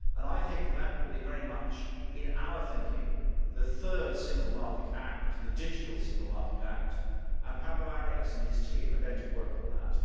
I think that will be very much in our thinking the third Single Market Act the Digital Single Market Act and Pablo Arias and his team are going to work on that.